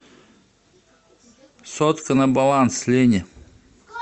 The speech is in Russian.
сотка на баланс лене